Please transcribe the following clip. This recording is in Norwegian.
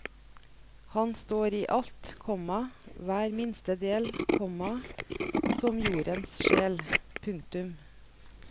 Han står i alt, komma hver minste del, komma som jordens sjel. punktum